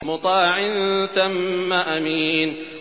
مُّطَاعٍ ثَمَّ أَمِينٍ